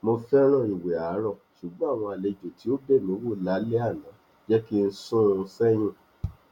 mo fẹràn ìwẹ àárọ ṣùgbọn àwọn àlejò tí ó bẹ mí wò lálẹ àná jẹ kí n sún un sẹyìn